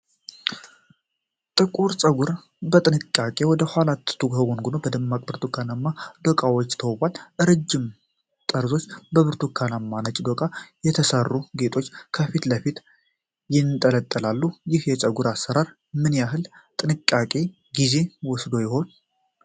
ጥቁር ጸጉር በጥንቃቄ ወደ ኋላ ተጎንጉኖ፣ በደማቅ ብርቱካናማ ዶቃዎች ተውቧል። ረጃጅም ጠርዞች በብርቱካናማና ነጭ ዶቃዎች የተሠሩ ጌጦች ከፊት ለፊት ይንጠለጠላሉ። ይህ የጸጉር አሠራር ምን ያህል ጥንቃቄና ጊዜ ወስዶ ይሆናል?